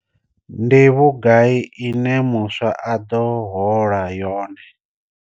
Ndi vhugai ine muswa a ḓo hola yone?